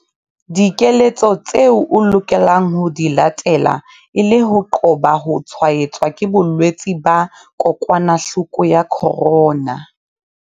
Dikeletso tseo o lokelang ho di latela e le ho qoba ho tshwaetswa ke bolwetse ba kokwanahloko ya corona